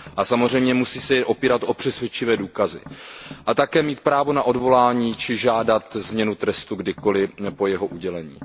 Samozřejmě se musí opírat o přesvědčivé důkazy. Odsouzený by také měl mít právo na odvolání či žádat změnu trestu kdykoliv po jeho udělení.